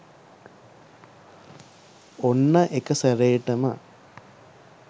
ඔන්න එකසැරේටම